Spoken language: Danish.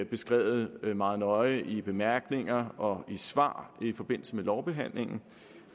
beskrevet meget nøje i bemærkningerne og i svar i forbindelse med lovbehandlingen